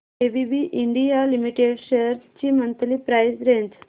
ABB India limited shares ची monthly price range